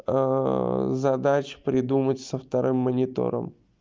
задачу придумать со вторым монитором